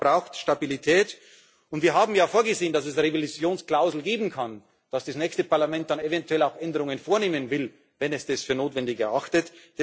Europa braucht Stabilität, und wir haben ja vorgesehen, dass es Revisionsklauseln geben kann, dass das nächste Parlament dann eventuell auch Änderungen vornehmen will, wenn es das für notwendig erachtet.